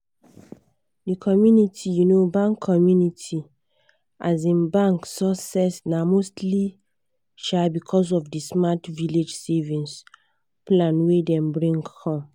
the community um bank community um bank success na mostly um because of the smart village savings plan wey dem bring come.